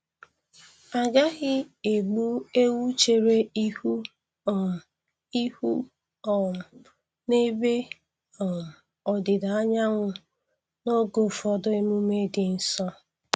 Agaghị egbu ewu chere ihu um ihu um n'ebe um ọdịda anyanwụ n'oge ụfọdụ emume dị nsọ.